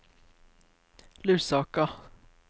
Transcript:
Lusaka